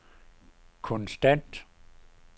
konstant